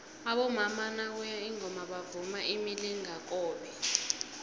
abomama nakuye ingoma bavunula imilingakobe